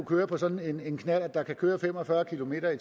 køre på sådan en knallert der kan køre fem og fyrre kilometer